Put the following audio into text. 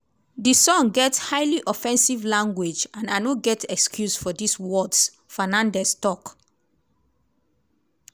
di song get highly offensive language and i no get excuse for dis words" fernandez tok.